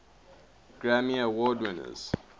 grammy award winners